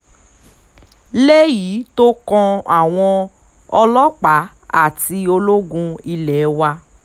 léyìí tó kan àwọn ọlọ́pàá àti ológun ilé wa